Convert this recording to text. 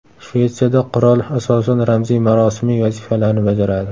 Shvetsiyada qirol asosan ramziy-marosimiy vazifalarni bajaradi.